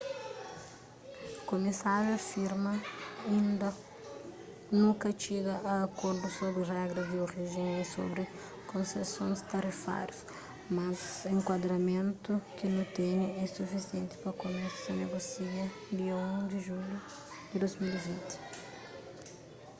kumisáriu afirma inda nu ka txiga a akordu sobri regras di orijen y sobri konsesons tarifáriu mas enkuadramentu ki nu tene é sufisienti pa kumesa negosia dia 1 di julhu di 2020